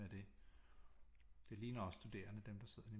Være det det ligner også studerende dem der sidder der